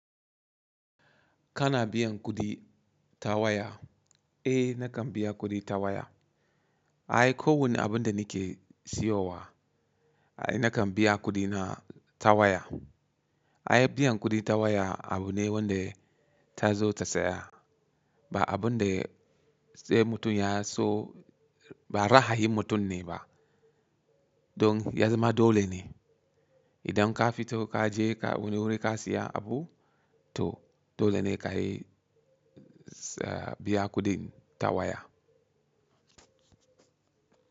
Kana biyan kuɗi ta waya? Eh nakan biya kuɗi ta waya. Ai kowane abun da nike siyowa ai nakan biya kuɗina ta waya. Ai biyan kuɗi ta waya abu ne wanda ta zo ta tsaya ba abun da sai mutum ya so ba ra'ayin mutum ne ba. Don ya zama dole ne idan ka fito ka je ka wani wuri ka siya abu toh, dole ne kayi biya kuɗin ta waya.